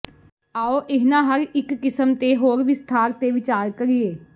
ਆਉ ਇਹਨਾਂ ਹਰ ਇੱਕ ਕਿਸਮ ਤੇ ਹੋਰ ਵਿਸਥਾਰ ਤੇ ਵਿਚਾਰ ਕਰੀਏ